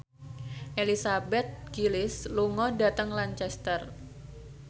Elizabeth Gillies lunga dhateng Lancaster